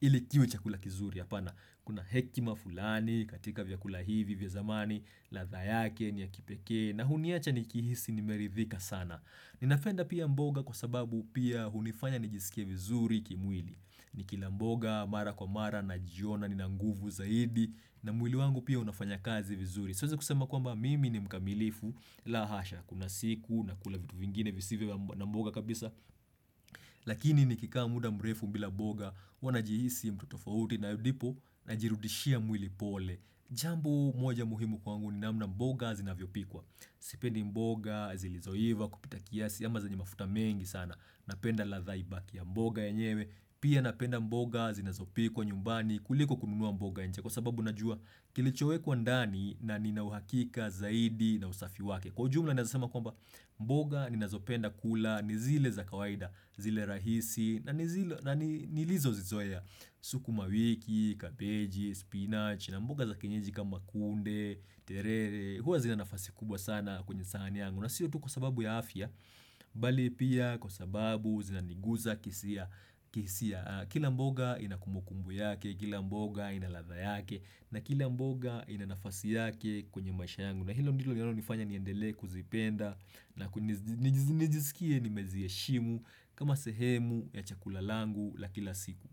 ili kiwe chakula kizuri hapana Kuna hekima fulani katika vyakula hivi vya zamani ladha yake ni ya kipekee na huniacha nikihisi nimeridhika sana. Ninapenda pia mboga kwa sababu pia hunifanya nijisike vizuri kimwili ni kila mboga mara kwa mara najiona nina nguvu zaidi na mwili wangu pia unafanya kazi vizuri. Siwezi kusema kwamba mimi ni mkamilifu la hasha kuna siku na kuna vitu vingine visivyo na mboga kabisa Lakini nikikaa muda mrefu bila mboga huwa najihisi mtu tofauti na ndipo najirudishia mwili pole. Jambo moja muhimu kwangu ni namna mboga zinavyopikwa Sipendi mboga zilizoiva kupita kiasi ama zenye mafuta mengi sana. Napenda ladha ibaki ya mboga yenyewe. Pia napenda mboga zinazopikwa nyumbani kuliko kununua mboga nje kwa sababu najua kilichowekwa ndani na nina uhakika zaidi na usafi wake. Kwa ujumla ninaeza sema kwamba mboga ninazopenda kula ni zile za kawaida zile rahisi na nilizozizoea. Sukuma wiki, kabeji, spinach na mboga za kienyeji kama kunde, terere huwa zina nafasi kubwa sana kwenye sahani yangu na sio tu kwa sababu ya afya bali pia kwa sababu zinaniguza kihisia. Kihisia. Kila mboga ina kumbukumbu yake, kila mboga ina ladha yake na kila mboga ina nafasi yake kwenye maisha yangu na hilo ndilo linalonifanya niendelee kuzipenda na nijisikie nimeziheshimu kama sehemu ya chakula langu la kila siku.